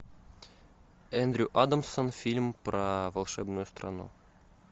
эндрю адамсон фильм про волшебную страну